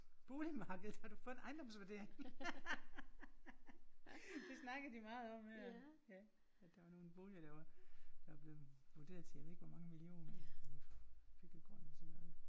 Boligmarkedet! Har du fået en ejendomsvurdering? Det snakker de meget om her ja at der var nogle vurderinger der var der var blevet vurderet til jeg ved ikke hvor mange millioner og byggegrunde og sådan noget